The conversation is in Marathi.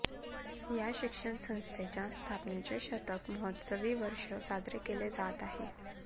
या शिक्षण संस्थेच्या स्थापनेचे शतक महोत्सवी वर्ष साजरे केले जात आहे